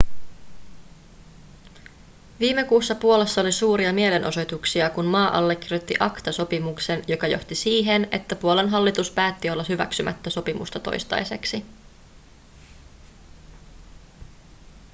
viime kuussa puolassa oli suuria mielenosoituksia kun maa allekirjoitti acta-sopimuksen joka johti siihen että puolan hallitus päätti olla hyväksymättä sopimusta toistaiseksi